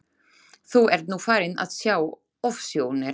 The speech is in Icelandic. Þú ert nú farin að sjá ofsjónir!